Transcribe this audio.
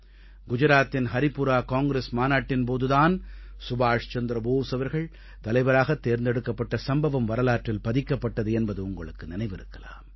குஜராத்தின் ஹரிபுரா காங்கிரஸ் மாநாட்டின் போது தான் சுபாஷ் சந்திர போஸ் அவர்கள் தலைவராக தேர்ந்தெடுக்கப்பட்ட சம்பவம் வரலாற்றில் பதிக்கப்பட்டது என்பது உங்களுக்கு நினைவிருக்கலாம்